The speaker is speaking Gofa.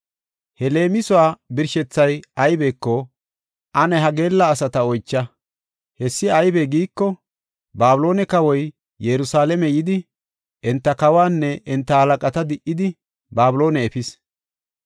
“He leemisuwa birshethay aybeko ane ha geella asata oycha. Hessi aybe giiko, Babiloone kawoy Yerusalaame yidi, enta kawaanne enta halaqata di77idi, Babiloone efis.